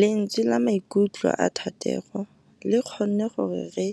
Lentswe la maikutlo a Thategô le kgonne gore re